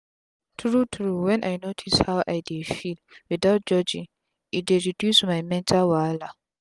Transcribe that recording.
tru tru w en i notice how i dey feel without judging e dey reduce my mental wahala